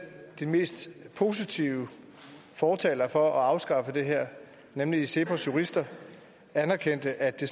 de mest positive fortalere for at afskaffe det her nemlig cepos jurister anerkendte at det